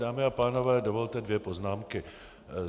Dámy a pánové, dovolte dvě poznámky.